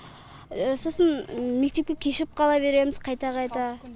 сосын мектепке кешігіп қала береміз қайта қайта